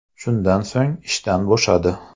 Shundan so‘ng ishdan bo‘shadi.